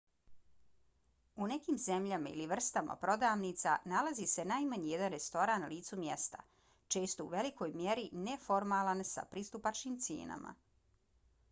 u nekim zemljama ili vrstama prodavnica nalazi se najmanje jedan restoran na licu mjesta često u velikoj mjeri neformalan s pristupačnim cijenama